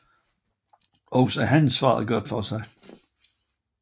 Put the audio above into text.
Også han svarede godt for sig